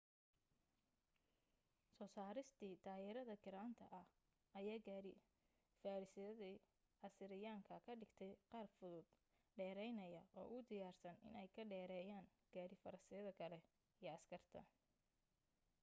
soo saaristii taayirada giraanta ah ayaa gaari-farasyadii asiiriyaanka ka dhigtay qaar fudud dheeraynaya oo u diyaarsan inay ka dheereeyaan gaari farasyada kale iyo askarta